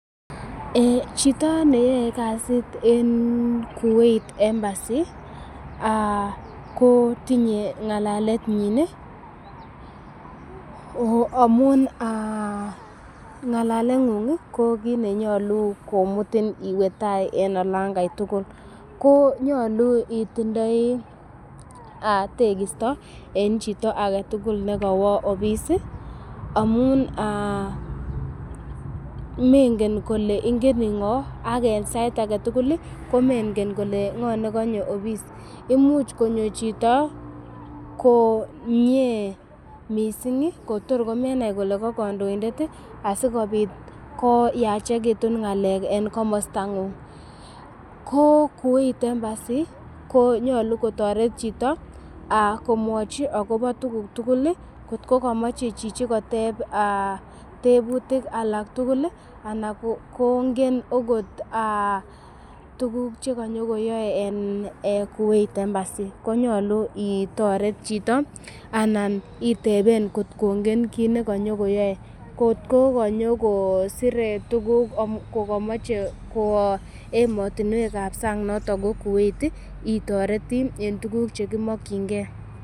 Chito neyoe kasit kou en Kuwait Embassy ko tinye ng'alalenyin amun, ng'alaleng'ung ko kiit ne nyolu komutin iwe tai en olon kai tugul. Ko nyolu itindoi tegisto en chito age tugul ne kowo office amun mengen kole ingeniin ng'o ak en sait age tugul komenge kole ng'o ne konyo office imuch konyo chito komiee mising kotor komenai ile ko kondoindet asikobit koyachegitun ng'alek en komostang'ung. Ko Kuwait Embassy ko nyolu kotoret chito komwochi agobo tuguk tugul, kotko komoche chichi koteb tebutik alak tugul ana kongen ogot tuguk che konyokoyae en Kuwait Embassy konyolu itoret chito anan iteben kot kongen kiit ne konyokoyoe. Kot ko konyokosire tuguk kogomoche kwo emotinwek ab sang noton ko Kuwait, itoreti en tuguk che kiomokinge.